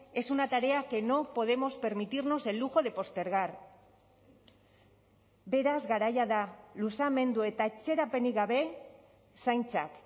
es una tarea que no podemos permitirnos el lujo de postergar beraz garaia da luzamendu eta atzerapenik gabe zaintzak